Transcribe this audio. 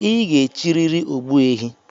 I ga-echiriri ogbuehi